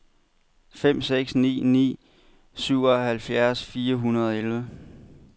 fem seks ni ni syvoghalvfjerds fire hundrede og elleve